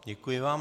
Děkuji vám.